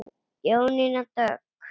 Jónína Dögg.